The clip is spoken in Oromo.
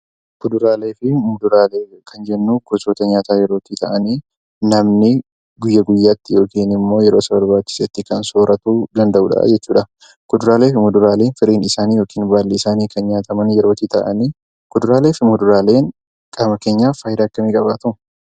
Kuduraalee fi muduraalee kan jennuu, gosoota nyaataa ta'anii namni guyyaa guyyaatti yookaan immoo yeroo isa barbaachisetti kan sooratu danda'udha jechuudha. Kuduraalee fi muduraaleen firiin yookaan baalli isaanii kan nyaataman yeroo ta'an , kuduraalee fi muduraaleen qaama keenyaaf fayidaa hedduu ni qabaatu